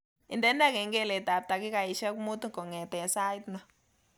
Indene kengeletab takikaishek muut kongete sait ni